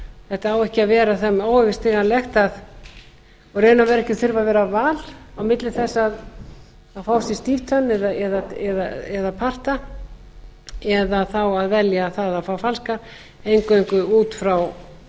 þetta á ekki að vera þeim óyfirstíganlegt og í raun og veru ekki að þurfa að vera val á milli þess að fá sér stíftennur eða parta eða þá að velja það að fá falskar eingöngu út frá